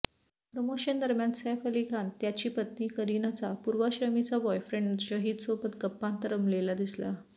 प्रमोशनदरम्यान सैफ अली खान त्याची पत्नी करिनाचा पूर्वाश्रमीचा बॉयफ्रेंड शाहीदसोबत गप्पांत रमलेला दिसला